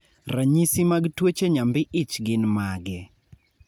ranyisi mag tuoche nyambi ich gin mage?